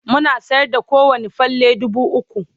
muna sayar da kowani falle dubu ukwu